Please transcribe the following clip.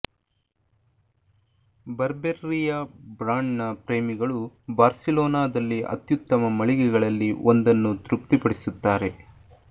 ಬರ್ಬೆರ್ರಿಯ ಬ್ರಾಂಡ್ನ ಪ್ರೇಮಿಗಳು ಬಾರ್ಸಿಲೋನಾದಲ್ಲಿ ಅತ್ಯುತ್ತಮ ಮಳಿಗೆಗಳಲ್ಲಿ ಒಂದನ್ನು ತೃಪ್ತಿಪಡಿಸುತ್ತಾರೆ